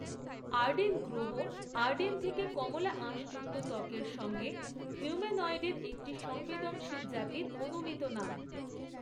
Arden গ্রহ Arden থেকে কমলা আঁশযুক্ত ত্বকের সঙ্গে হিউম্যানয়েডের একটি সংবেদনশীল জাতির অনুমিত নাম।